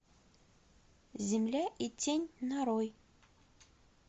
земля и тень нарой